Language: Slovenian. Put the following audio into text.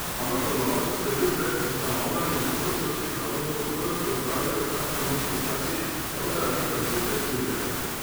Ampak poznavalci svarijo pred ustanavljanjem visokošolskih zavodov v, kot pravijo, vsaki slovenski vasi, prav zaradi kvalitete študija.